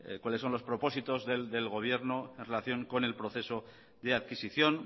cuáles son los propósitos del gobierno en relación con el proceso de adquisición